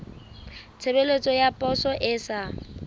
tshebeletso ya poso e sa